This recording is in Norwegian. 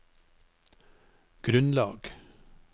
grunnlag